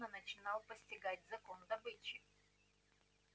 он смутно начинал постигать закон добычи